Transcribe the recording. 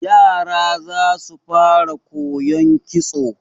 Yara za su fara koyon kitso.